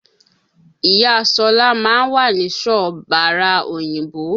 Ìya Ṣọlá ma ń wà nísọ bàra òyìnbó